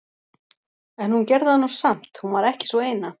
En hún gerði það nú samt, hún var ekki sú eina.